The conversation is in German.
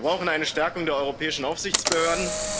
Wir brauchen eine Stärkung der europäischen Aufsichtsbehörden